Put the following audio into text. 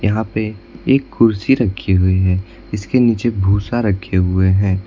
यहां पे एक कुर्सी रखी हुई है जिसके नीचे भूसा रखे हुए हैं।